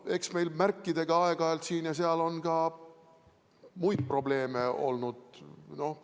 Eks meil märkidega aeg-ajalt siin ja seal on ka muid probleeme olnud.